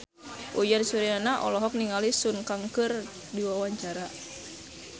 Uyan Suryana olohok ningali Sun Kang keur diwawancara